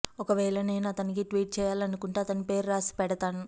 ఒకవేళ నేను అతనికి ట్వీట్ చెయ్యాలనుకుంటే అతని పేరు రాసి పెడుతను